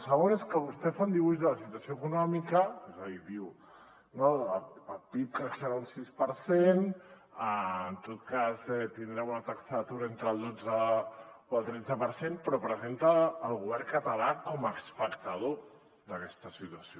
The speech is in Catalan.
el segon és que vostè fa un dibuix de la situació econòmica és a dir diu no el pib creixerà un sis per cent en tot cas tindrem una taxa d’atur entre el dotze o el tretze per cent però presenta el govern català com a espectador d’aquesta situació